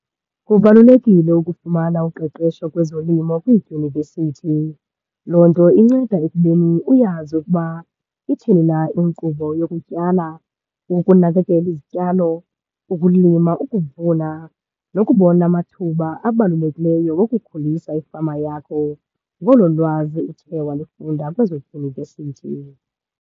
Kubalulekile ukufumana uqeqesho kwezolimo kwiidyunivesithi. Loo nto inceda ekubeni uyazi ukuba ithini na inkqubo yokutyala, ukunakekela izityalo, ukulima, ukuvuna, nokubona amathuba abalulekileyo wokukhulisa ifama yakho ngolo lwazi uthe walifunda kwezo dyunivesithi.